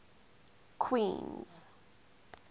queens